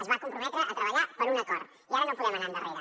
es va comprometre a treballar per un acord i ara no podem anar endarrere